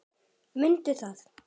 Mundi það.